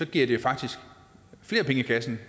giver den faktisk flere penge i kassen